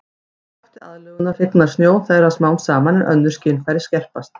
Í krafti aðlögunar hnignar sjón þeirra smám saman en önnur skynfæri skerpast.